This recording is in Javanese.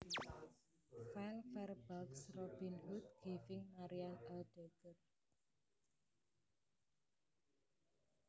File Fairbanks Robin Hood giving Marian a dagger